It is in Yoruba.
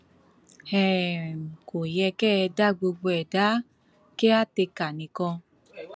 um kò yẹ kẹ ẹ dá gbogbo ẹ dá kíàtèkà nìkan